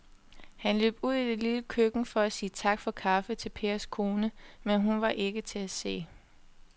Han løb ud i det lille køkken for at sige tak for kaffe til Pers kone, men hun var ikke til at se.